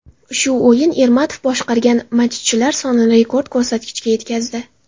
Shu o‘yin Ermatov boshqargan matchlar sonini rekord ko‘rsatkichga yetkazdi .